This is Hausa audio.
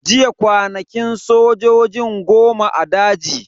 Jiya kwanakin sojojin goma a daji.